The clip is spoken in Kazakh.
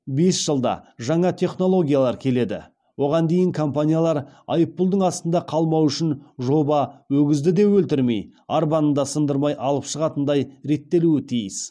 бес жылда жаңа технологиялар келеді оған дейін компаниялар айыппұлдың астында қалмауы үшін жоба өгізді де өлтірмей арбаны да сындырмай алып шығатындай реттелуі тиіс